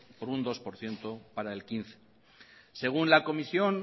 por un dos por ciento para el dos mil quince según la comisión